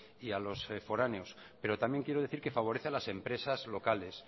y a los foráneos pero también quiero decir que favorece a las empresas locales